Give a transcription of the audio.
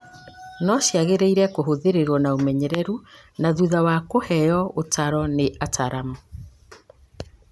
no ciagĩrĩirũo kũhũthĩrũo na ũmenyeru na thutha wa kũheo ũtaaro nĩ ataaramu.